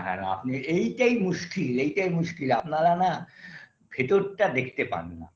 আর আপনি এটাই মুশকিল এটাই মুশকিল আপনার না ভেতরটা দেখতে পান না